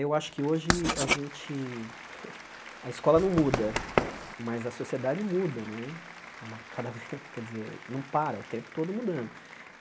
Eu acho que hoje a gente... A escola não muda, mas a sociedade muda né, cada ve quer dizer não para está o tempo todo mudando.